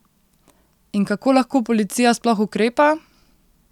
In kako lahko policija sploh ukrepa?